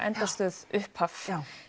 endastöð upphaf já